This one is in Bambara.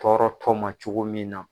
Tɔɔrɔtɔ ma cogo min na.